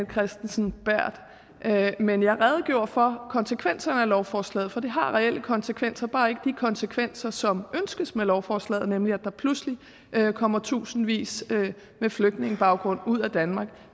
kristensen berth men jeg redegjorde for konsekvenserne af lovforslaget for det har reelle konsekvenser bare ikke de konsekvenser som ønskes med lovforslaget nemlig at der pludselig kommer tusindvis med flygtningebaggrund ud af danmark